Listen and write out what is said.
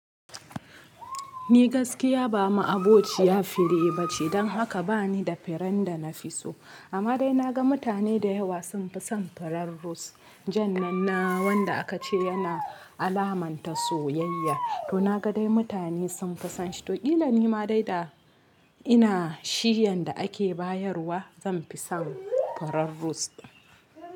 Ni gaskiya ba mu aboci ya fira ba ce, don haka ba ni da fira da na fi so. Amma dai na ga mutane da yawa sun fi son firen rose jan nan na wanda aka ce yana alamanta soyayya. To na ga dai mutane sun fisonshi, to illan ni ma dai da ina shiyan da ake bayarwa zan fi son fira rose.